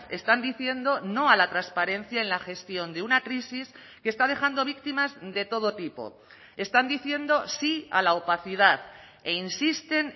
están diciendo no a la transparencia en la gestión de una crisis que está dejando víctimas de todo tipo están diciendo sí a la opacidad e insisten